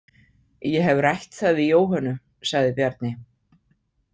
Ég hef rætt það við Jóhönnu, sagði Bjarni.